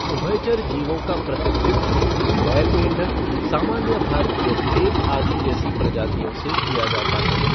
उभयचर जीवों का प्रतिनिधित्व बैल मेंढक, सामान्य भारतीय भेक आदि जैसी प्रजातियों से किया जाता है।